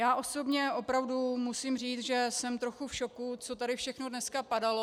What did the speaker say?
Já osobně opravdu musím říct, že jsem trochu v šoku, co tady všechno dneska padalo.